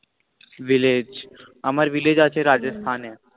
village আমার village আছে Rajasthan এ।